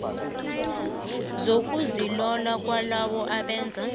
zokuzilola kwalabo abenza